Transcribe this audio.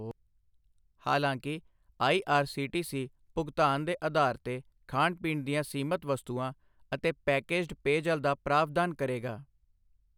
ਹਾਲਾਂਕਿ ਆਈਆਰਸੀਟੀਸੀ ਭੁਗਤਾਨ ਦੇ ਅਧਾਰ ਤੇ ਖਾਣ ਪੀਣ ਦੀਆਂ ਸੀਮਤ ਵਸਤੂਆਂ ਅਤੇ ਪੈਕੇਜਡ ਪੇਅਜਲ ਦਾ ਪ੍ਰਾਵਧਾਨ ਕਰੇਗਾ।